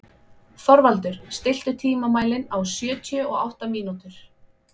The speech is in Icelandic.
Þorvaldur, stilltu tímamælinn á sjötíu og átta mínútur.